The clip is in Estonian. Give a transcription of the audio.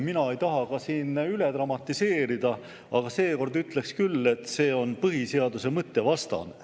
Mina ei taha siin ka üle dramatiseerida, aga seekord ütleksin küll, et see on põhiseaduse mõtte vastane.